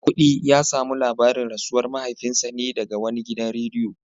Maikudi ya samu labarin rasuwar mahaifinsa ne daga wani gidan rediyo